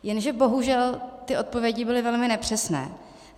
Jenže bohužel ty odpovědi byly velmi nepřesné.